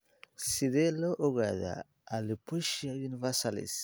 Sidee lagu ogaadaa alopecia universalis?